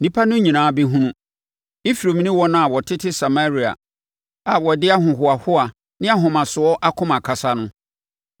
Nnipa no nyinaa bɛhunu, Efraim ne wɔn a wɔtete Samaria a wɔde ahohoahoa ne ahomasoɔ akoma kasa no,